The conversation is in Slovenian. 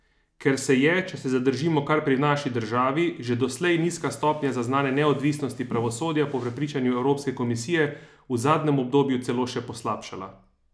Ker se je, če se zadržimo kar pri naši državi, že doslej nizka stopnja zaznane neodvisnosti pravosodja po prepričanju Evropske komisije v zadnjem obdobju celo še poslabšala!